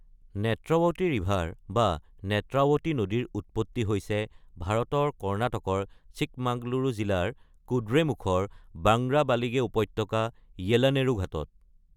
Netravati river বা নেত্ৰাৱতী নদীৰ উৎপত্তি হৈছে ভাৰতৰ কৰ্ণাটকৰ চিক্কামাগলুৰু জিলাৰ কুদ্ৰেমুখৰ বাংগ্ৰাবালিগে উপত্যকা, য়েলানেৰু ঘাটত।